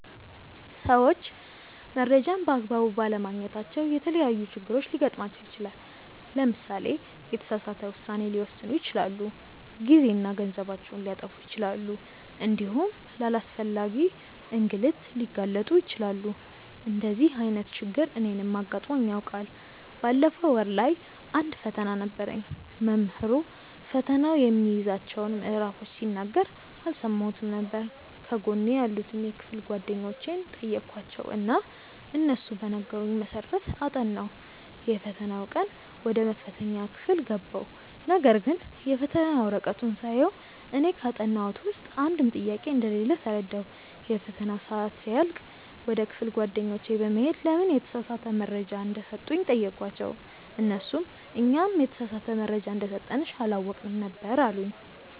ሰዎች መረጃን በ አግባቡ ባለማግኘታቸው የተለያዪ ችግሮች ሊገጥማቸው ይችላል። ለምሳሌ የተሳሳተ ውሳኔ ሊወስኑ ይችላሉ፣ ጊዜና ገንዘባቸውን ሊያጠፉ ይችላሉ እንዲሁም ለአላስፈላጊ እንግልት ሊጋለጡ ይችላሉ። እንደዚህ አይነት ችግር እኔንም አጋጥሞኝ ያውቃል። ባለፈው ወር ላይ አንድ ፈተና ነበረኝ። መምህሩ ፈተናው የሚይዛቸውን ምዕራፎች ሲናገር አልሰማሁትም ነበር። ከጎኔ ያሉትን የክፍል ጓደኞቼን ጠየኳቸው እና እነሱ በነገሩኝ መሰረት አጠናሁ። የፈተናው ቀን ወደ መፈተኛ ክፍል ገባሁ ነገርግን የፈተና ወረቀቱን ሳየው እኔ ካጠናሁት ውስጥ አንድም ጥያቄ እንደሌለ ተረዳሁ። የፈተናው ሰአት ሲያልቅ ወደ ክፍል ጓደኞቼ በመሄድ ለምን የተሳሳተ መረጃ እንደሰጡኝ ጠየኳቸው እነርሱም "እኛም የተሳሳተ መረጃ እንደሰጠንሽ አላወቅንም ነበር አሉኝ"።